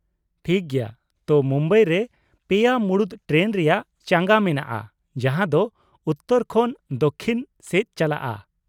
ᱴᱷᱤᱠ ᱜᱮᱭᱟ, ᱛᱟ ᱢᱩᱢᱵᱟᱭ ᱨᱮ ᱯᱮᱭᱟ ᱢᱩᱬᱩᱫ ᱴᱨᱮᱱ ᱨᱮᱭᱟᱜ ᱪᱟᱸᱜᱟ ᱢᱮᱱᱟᱜᱼᱟ ᱡᱟᱦᱟᱸ ᱫᱚ ᱩᱛᱛᱚᱨ ᱠᱷᱚᱱ ᱫᱚᱠᱽᱠᱷᱤᱱ ᱥᱮᱫ ᱪᱟᱞᱟᱜᱼᱟ ᱾